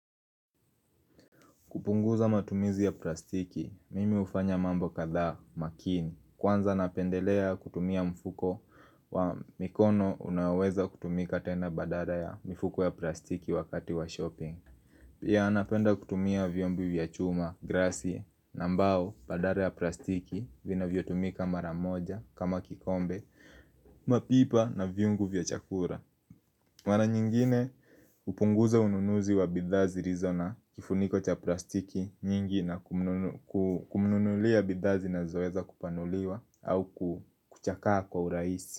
Kupunguza matumizi ya plastiki, mimi hufanya mambo kadha makini. Kwanza napendelea kutumia mfuko wa mikono unaoweza kutumika tena badala ya mifuko ya plastiki wakati wa shopping. Pia napenda kutumia vyombo vya chuma, glassi, na mbao badala ya plastiki vinavyotumika mara moja kama kikombe, mapipa na vyungu vya chakula. Mara nyingine hupunguza ununuzi wa bidhaa zilizo na kifuniko cha plastiki nyingi na kumnunulia bidhaa zinazoeza kupanuliwa au kuchakaa kwa urahisi.